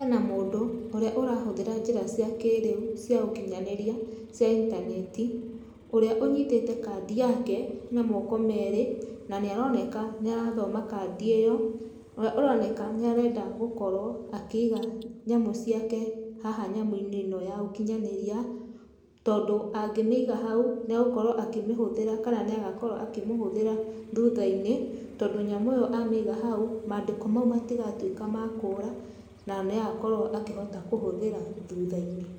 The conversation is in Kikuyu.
Hena mũndũ, ũrĩa ũrahũthĩra njĩra cia kĩrĩu, cia ũkinyanĩria, cia intaneti, ũrĩa ũnyitĩte kandi yake na moko merĩ, na nĩaroneka nĩarathoma kandi ĩyo, ũrĩa ũroneka nĩarenda gũkorwo akĩiga nyamũ ciake haha nyamũ-inĩ ĩno ya ũkinyanĩria, tondũ, angĩmĩiga hau, nĩagũkorwo akĩmĩhũthĩra kana nĩagakorwo akĩmĩhũthĩra thutha-inĩ, tondũ nyamũ ĩyo amĩiga hau, madĩko mau matigatwĩka ma kũra, na niagakorwo akĩhota kũhũthĩra thutha-inĩ.